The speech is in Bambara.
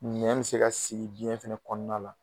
Nɛn bɛ se ka sigi biɲɛn fana kɔnɔna la.